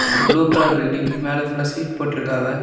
ஒரு blue colour building . மேல ஃபுல்லா ஷீட் போட்டுருக்காவ.